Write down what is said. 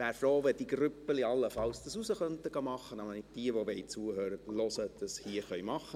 Ich wäre froh, wenn diese Grüppchen das allenfalls draussen machen könnten, damit diejenigen, die zuhören wollen, dies tun können.